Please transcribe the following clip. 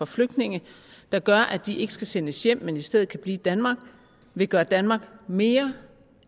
flygtninge der gør at de ikke skal sendes hjem men i stedet kan blive i danmark vil gøre danmark mere